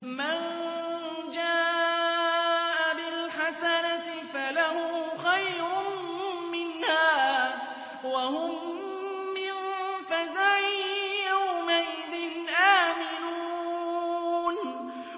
مَن جَاءَ بِالْحَسَنَةِ فَلَهُ خَيْرٌ مِّنْهَا وَهُم مِّن فَزَعٍ يَوْمَئِذٍ آمِنُونَ